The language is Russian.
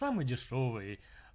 самый дешёвый